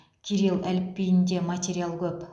кирилл әліпбиінде материал көп